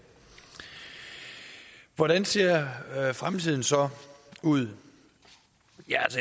hvordan ser fremtiden så ud ja